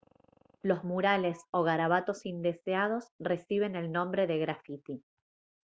los murales o garabatos indeseados reciben el nombre de grafiti